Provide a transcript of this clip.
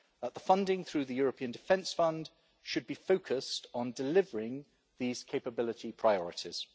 The funding through the European Defence Fund should be focused on delivering these capability priorities.